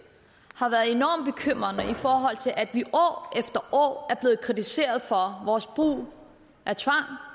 har været enormt bekymrende i forhold til at vi år efter år er blevet kritiseret for vores brug af tvang